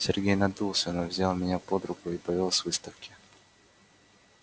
сергей надулся но взял меня под руку и повёл с выставки